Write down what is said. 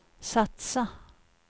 satsa